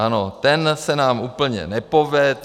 Ano, ten se nám úplně nepovedl.